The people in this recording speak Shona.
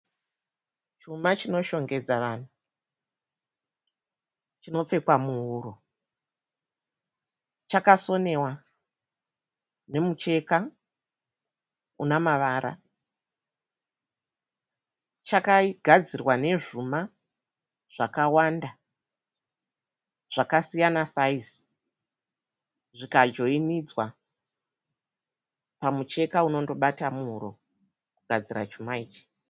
Chuma chinoshongedza vanhu. Chinopfekwa muhuro. Chakasonewa nemucheka unamavara. Chakagadzirwa nezvuma zvakawanda zvakasiyana saizi zvikajoinidzwa pamucheka unondobata muhuro kugadzira chuma ichi.